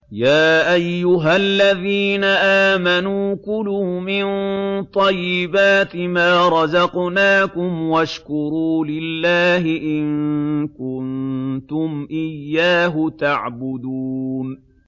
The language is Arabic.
يَا أَيُّهَا الَّذِينَ آمَنُوا كُلُوا مِن طَيِّبَاتِ مَا رَزَقْنَاكُمْ وَاشْكُرُوا لِلَّهِ إِن كُنتُمْ إِيَّاهُ تَعْبُدُونَ